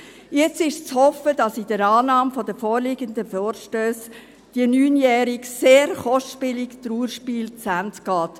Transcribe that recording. Jetzt ist zu hoffen, dass mit der Annahme der vorliegenden Vorstösse das neunjährige, sehr kostspielige Trauerspiel zu Ende geht.